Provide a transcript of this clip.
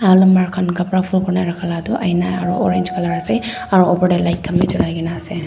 aru manu khan kapara fol kori rakha laga tu ahina aru orange colour ase aru opor te light khan bhi jolai kina ase.